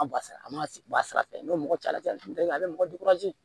An bɔ sira a man bɔ a sira fɛ n'o mɔgɔ cayali a bɛ mɔgɔ